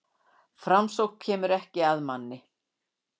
Framsókn kemur ekki að manni.